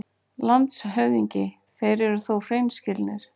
LANDSHÖFÐINGI: Þeir eru þó hreinskilnir.